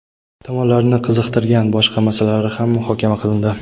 tomonlarni qiziqtirgan boshqa masalalar ham muhokama qilindi.